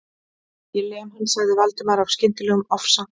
Ég lem hann.- sagði Valdimar af skyndilegum ofsa